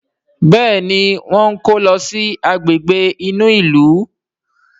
Béèni wón kò ló sì Àgbègbè inú ilu.